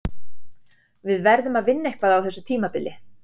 Við verðum að vinna eitthvað á þessu tímabili.